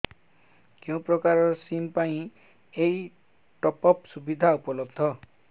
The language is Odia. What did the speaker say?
କେଉଁ ପ୍ରକାର ସିମ୍ ପାଇଁ ଏଇ ଟପ୍ଅପ୍ ସୁବିଧା ଉପଲବ୍ଧ